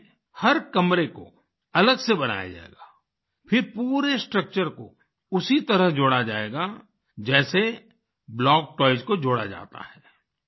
इसमें हर कमरे को अलग से बनाया जाएगा फिर पूरे स्ट्रक्चर को उसी तरह जोड़ा जाएगा जैसे ब्लॉक टॉयज़ को जोड़ा जाता है